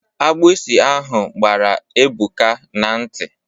Agbụsi ahụ gbara Ebuka n'nti.